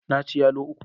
Na ci yalo uku.